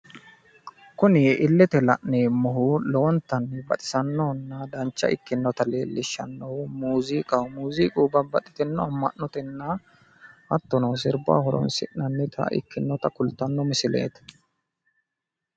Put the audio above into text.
kuni illete la'neemmohu lowontanni baxisannohonna dancha ikkinota leellishannohu muuziqaho muuziqu babaxitino ama'notenna hattono sirbaho horonsinanita ikkinota kultanno misileeti.